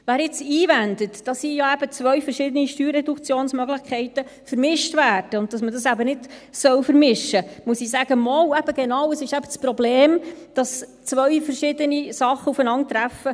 Wer jetzt einwendet, dass hier ja eben zwei verschiedene Steuerreduktionsmöglichkeiten vermischt werden, und dass man diese eben nicht vermischen soll, dem muss ich sagen: Doch, genau das ist eben das Problem, dass zwei verschiedene Sachen aufeinandertreffen.